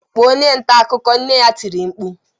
"Kpọọ onye nta akụkọ!” Nne ya tiri mkpu